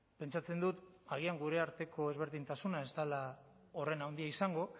pentsatzen dut agian gure arteko ezberdintasuna ez dela horren handia izango